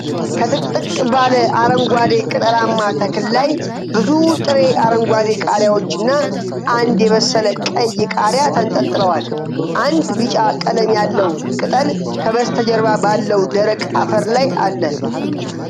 ከጥቅጥቅ ባለ አረንጓዴ ቅጠላማ ተክል ላይ ብዙ ጥሬ አረንጓዴ ቃሪያዎችና አንድ የበሰለ ቀይ ቃሪያ ተንጠልጥለዋል። አንድ ቢጫ ቀለም ያለው ቅጠል ከበስተጀርባ ባለው ደረቅ አፈር ላይ አለ።